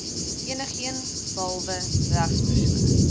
enigeen behalwe regspersone